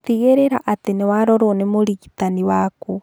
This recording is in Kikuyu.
Tigĩrĩra atĩ nĩwarorwo nĩ mũrigitani waku